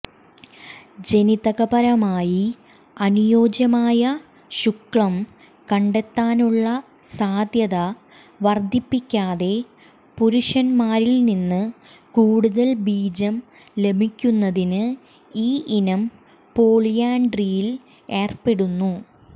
ജനിതകപരമായി അനുയോജ്യമായ ശുക്ലം കണ്ടെത്താനുള്ള സാധ്യത വർദ്ധിപ്പിക്കാതെ പുരുഷന്മാരിൽ നിന്ന് കൂടുതൽ ബീജം ലഭിക്കുന്നതിന് ഈ ഇനം പോളിയാൻഡ്രിയിൽ ഏർപ്പെടുന്നു